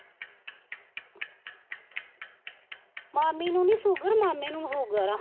ਮਾਮੀ ਨੂੰ ਨੀ ਸੂਗਰ ਮਾਮੇ ਨੂੰ ਸੂਗਰ ਆ।